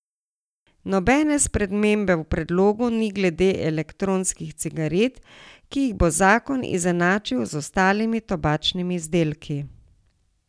Nobene spremembe v predlogu ni glede elektronskih cigaret, ki jih bo zakon izenačil z ostalimi tobačnimi izdelki.